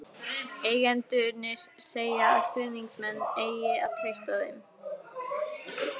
Eigendurnir segja að stuðningsmenn eigi að treysta þeim.